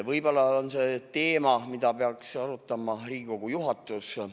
Võib-olla on see teema, mida peaks arutama Riigikogu juhatus.